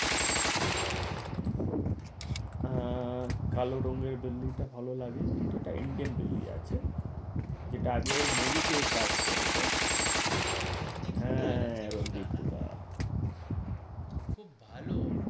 হ্যাঁ কালো রঙের বিল্লিটা ভালো লাগে কিন্তু এটা Indian বিল্ডিং আছে যেটা আগেও movie ও কাজ করেছে হাঁ রন্দীপ হুদা খুব ভালো